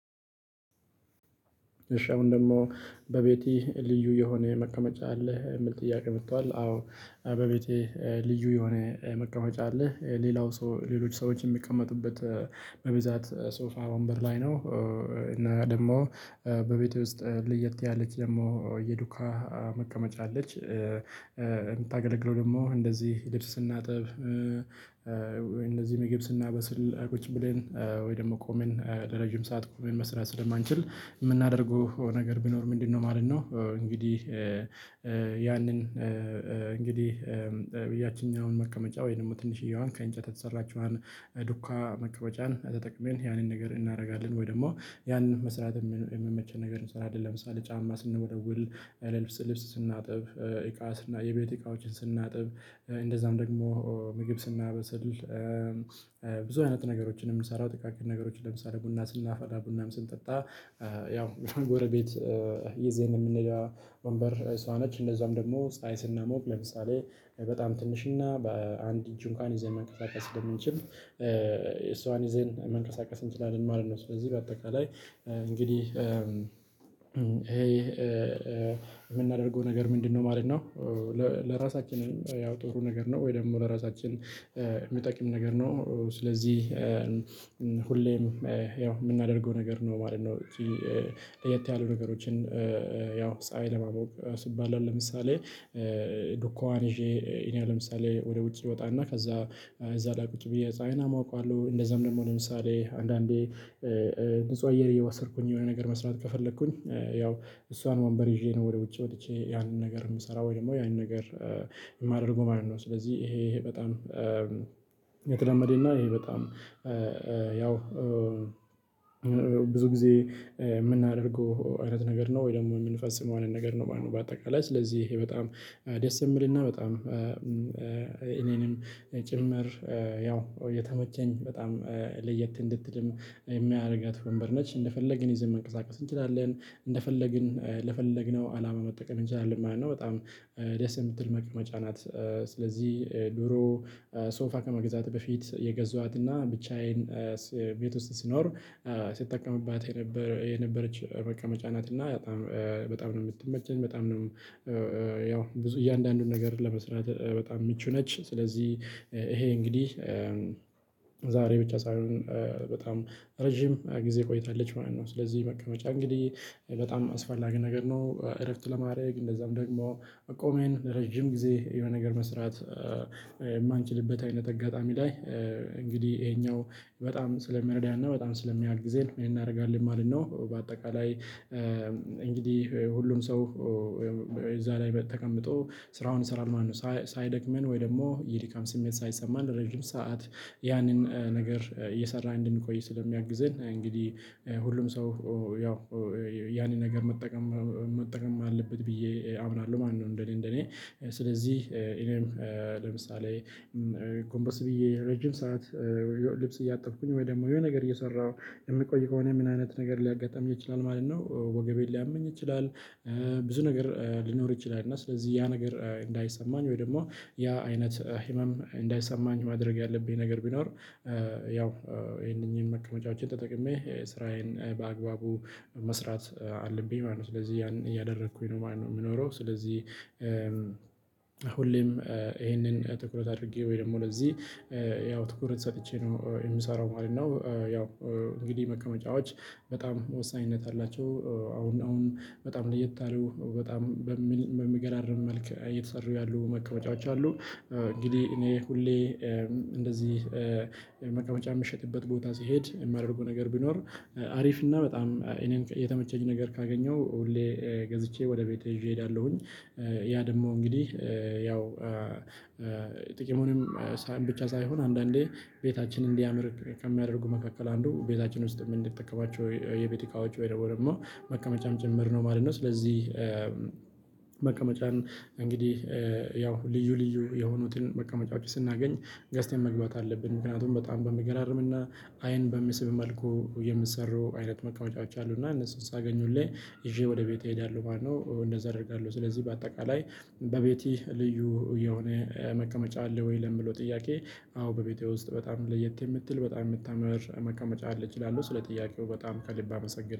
እሺ አሁን ደግሞ በቤቲ ልዩ የሆነ መቀመጫ አለህ የሚል ጥያቄ መቷል። አዎ። በቤቴ ልዩ የሆነ መቀመጫ አለ። ሌላው ሰው ሌሎች ሰዎች የሚቀመጡበት በብዛት ሶፋ ወንበር ላይ ነው። እና ደግሞ በቤቴ ውስጥ ለየት ያለች ደግሞ የዱካ መቀመጫ አለች። የምታገለግለው ደግሞ እንደዚህ ልብስ ስናጥብ። እንደዚህ ምግብ ስናበስል ቁጭ ብለን ወይ ደግሞ ቆመን ለረጅም ሰዓት ቆመን መስራት ስለማንችል የምናደርገው ነገር ቢኖር ምንድነው ማለት ነው? እንግዲህ። ያንን እንግዲህ ያችኛውን መቀመጫ ወይንም ትንሽዬዋን ከእንጨት የተሰራችዋን ዱካ መቀመጫን ተጠቅመን ያንን ነገር እናደርጋለን። ወይ ደግሞ ያንን መስራት የሚመች ነገር እንሰራለን። ለምሳሌ ጫማ ስንወለውል ልብስ ስናጥብ እቃ የቤት እቃዎችን ስናጥብ እንደዛም ደግሞ ምግብ ስናበስል። ብዙ አይነት ነገሮችን የምንሰራው ጥቃቅን ነገሮችን ለምሳሌ ቡና ስናፈላ ቡናም ስንጠጣ። ያው ጎረቤት ይዘን የምንሄደው ወንበር እሷ ነች። እንደዛም ደግሞ ፀሀይ ስናሞቅ ለምሳሌ በጣም ትንሽና በአንድ እጅ እንኳን ይዘን መንቀሳቀስ ስለምንችል እሷን ይዘን መንቀሳቀስ እንችላለን ማለት ነው። ስለዚህ በአጠቃላይ እንግዲህ ይሄ የምናደርገው ነገር ምንድነው ማለት ነው? ለራሳችንን ያው ጥሩ ነገር ነው ወይ ደግሞ ለራሳችን የሚጠቅም ነገር ነው። ስለዚህ ሁሌም ያው የምናደርገው ነገር ነው ማለት ነው። ለየት ያሉ ነገሮችን ያው ፀሀይ ለማሞቅ ስባል አሁን ለምሳሌ ዱኳን ይዤ እኔ ለምሳሌ ወደ ውጭ እወጣና ከዛ እዛ ላይ ቁጭ ብዬ ፀሀይን አሞቀዋለው እንደዛም ደግሞ ለምሳሌ አንዳንዴ ንጹህ አየር እየዋሰድኩኝ የሆነ ነገር መስራት ከፈለኩኝ። ያው እሷን ወንበር ይዤ ነው ወደ ውጭ ወጥቼ ያንን ነገር የምሰራው ወይ ደግሞ ያንን ነገር የማደርገው ማለት ነው። ስለዚህ ይሄ ይሄ በጣም የተለመደና ይሄ በጣም ያው ብዙ ጊዜ የምናደርገው አይነት ነገር ነው። ወይ ደግሞ የምንፈጽመው አይነት ነገር ነው። በአጠቃላይ ስለዚህ ይሄ በጣም ደስ የሚልና በጣም እኔንም ጭምር ያው የተመቸኝ በጣም ለየት እንድትልም የሚያደርጋት ወንበር ነች እንደፈለግን ይዘን መንቀሳቀስ እንችላለን እንደፈለግን ለፈለግነው አላማ መጠቀም እንችላለን ማለት ነው። በጣም ደስ የምትል መቅመጫ ናት። ስለዚህ ድሮ ሶፋ ከመግዛቴ በፊት የገዟትና ብቻዬን ቤት ውስጥ ስኖር ስጠቀምባት የነበረች መቀመጫ ናት። እና በጣም ነው የምትመቸኝ በጣም ነው። ያው እያንዳንዱን ነገር ለመስራት በጣም ምቹ ነች ስለዚህ ይሄ እንግዲህ ብቻ ሳይሆን በጣም ረጅም ጊዜ ቆይታለች ማለት ነው። ስለዚህ በቃ መጨረሻ እንግዲህ በጣም አስፈላጊ ነገር ነው። እረፍት ለማድረግ እንደዛም ደግሞ ቆመን ለረጅም ጊዜ የሆነ ነገር መስራት። የማንችልበት አይነት አጋጣሚ ላይ እንግዲህ ይሄኛው በጣም ስለሚረዳና በጣም ስለሚያግዘን እናደርጋለን ማለት ነው። በአጠቃላይ እንግዲህ ሁሉም ሰው እዛ ላይ ተቀምጦ ስራውን ይሰራል ማለት ነው። ሳይደክመን ወይ ደግሞ የድካም ስሜት ሳይሰማን ረጅም ሰዓት ያንን ነገር እየሰራን እንድንቆይ ስለሚያግዝን እንግዲህ ሁሉም ሰው ያው ያንን ነገር መጠቀም መጠቀም አለበት ብዬ አምናለሁ ማለት ነው። እንደእኔ እንደእኔ ስለዚህ እኔም ለምሳሌ ጎምበስ ብዬ ረጅም ሰዓት ልብስ እያጠብኩኝ ወይ ደግሞ የሆነ ነገር እየሰራሁ የምቆይ ከሆነ ምን አይነት ነገር ሊያጋጥም ይችላል ማለት ነው። ወገቤን ሊያመኝ ይችላል። ብዙ ነገር ሊኖር ይችላል እና ስለዚህ ያ ነገር እንዳይሰማኝ ወይ ደግሞ ያ አይነት ህመም እንዳይሰማኝ ማድረግ ያለብኝ ነገር ቢኖር ይህው እነኝህን መቀመጫዎችን ተጠቅሜ ስራዬን በአግባቡ መስራት አለብኝ ማለት ነው። ስለዚህ ያን እያደረኩኝ ነው ማለት ነው የሚኖረው። ስለዚህ ሁሌም ይሄንን ትኩረት አድርጌ ወይ ደግሞ ለዚህ ያው ትኩረት ሰጥቼ ነው የምሰራው ማለት ነው። ያው እንግዲህ መቀመጫዎች በጣም ወሳኝነት አላቸው። አሁን አሁን በጣም ለየት ያሉ በጣም በሚገራርም መልኩ እየተሰሩ ያሉ መቀመጫዎች አሉ። እንግዲህ እኔ ሁሌ እንደዚህ መቀመጫ የምሸጥበት ቦታ ሲሄድ የማደርገው ነገር ቢኖር አሪፍ እና በጣም እኔን የተመቸኝ ነገር ካገኘሁ ሁሌ ገዝቼ ወደ ቤቴ ይዤ እሄዳለሁኝ። ያ ደግሞ እንግዲህ ያው ጥቅሙንም ብቻ ሳይሆን አንዳንዴ ቤታችንን እንዲያምር ከሚያደርጉ መካከል አንዱ ቤታችን ውስጥ የምንጠቀማቸው የቤት እቃዎች ወይ ደግሞ መቀመጫም ጭምር ነው ማለት ነው። ስለዚህ መቀመጫን እንግዲህ ያው ልዩ ልዩ የሆኑትን መቀመጫዎች ስናገኝ ገስተን መግባት አለብን ምክንያቱም በጣም በሚገራርም አይን በሚስብ መልኩ የምትሰሩ አይነት መቀመጫዎች አሉና እነሱን ሳገኙልኝ ይዤ ወደ ቤቴ እሄዳለሁ ማለት ነው። እንደዛ አደርጋለሁ። ስለዚህ በአጠቃላይ በቤቴ ልዩ የሆነ መቀመቻ አለ ወይ ለምለው ጥያቄ? አዎ በቤቴ ውስጥ በጣም ለየት የምትል በጣም የምታምር መቀመጫ አለች ይላሉ ስለ ጥያቄው በጣም ከልብ አመሰግናለሁ